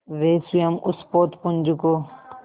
वे स्वयं उस पोतपुंज को